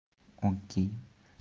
окей